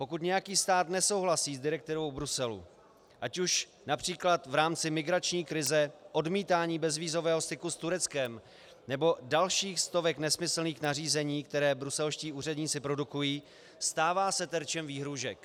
Pokud nějaký stát nesouhlasí s direktivou Bruselu, ať už například v rámci migrační krize, odmítání bezvízového styku s Tureckem nebo dalších stovek nesmyslných nařízení, která bruselští úředníci produkují, stává se terčem výhrůžek.